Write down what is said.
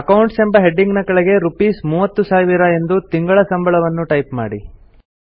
accounts ಎಂಬ heading ನ ಕೆಳಗೆ ರೂಪೀಸ್ 30000 ಎಂದು ತಿಂಗಳ ಸಂಬಳವನ್ನು ಟೈಪ್ ಮಾಡಿ